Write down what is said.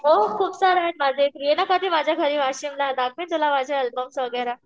हो खूप सारे आहेत माझे ये ना कधी माझ्या घरी वाशिमला दाखवेन तुला माझे एलबम्स वगैरा.